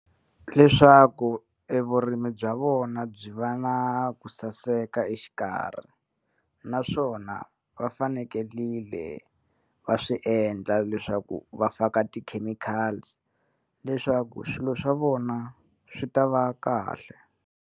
Leswaku e vurimi bya vona byi va na ku saseka exikarhi naswona va fanekelile va swi endla leswaku va faka ti-chemicals leswaku swilo swa vona swi ta va kahle.